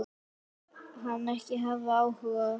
Segist hann ekki hafa áhuga?